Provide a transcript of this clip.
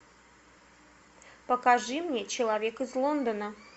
покажи мне человек из лондона